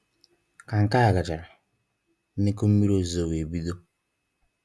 Ka nke á gachara, nnukwu mmiri ozizo wee bido